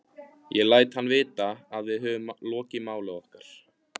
Ég læt hann vita, að við höfum lokið máli okkar.